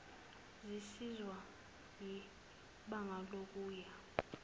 zisizwa yibanga lokuya